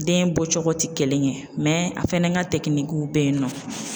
Den bɔ cogo tɛ kelen ye mɛ a fɛnɛ ka bɛ yen nɔ.